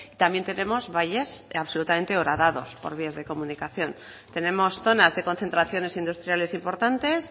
también tenemos valles absolutamente horadados por vía de comunicación tenemos zonas de concentraciones industriales importantes